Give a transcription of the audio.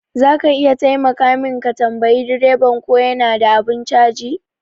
Zaka iya taimaka min ka tambayi direban ko yana da abun caji?